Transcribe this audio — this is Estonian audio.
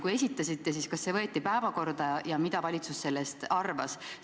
Kui esitasite, siis kas see võeti päevakorda ja mida valitsus sellest arvas?